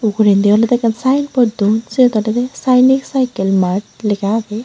ugure olode ekkan sign board dun seyot olode sainik cycle mart lega age.